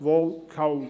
– Wohl kaum.